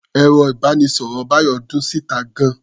Ẹ̀rọ-ìbánisọ̀rọ̀ Bayo dún síta gan-an.